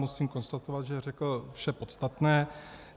Musím konstatovat, že řekl vše podstatné.